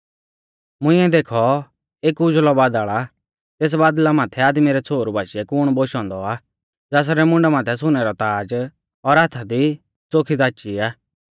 मुंइऐ देखौ एक उज़ल़ौ बादल़ आ और तेस बादल़ा माथै आदमी रै छ़ोहरु बाशीऐ कुण बोशौ औन्दौ आ ज़ासरै मुंडा माथै सुनै रौ ताज़ और हाथा दी च़ोखी दाची आ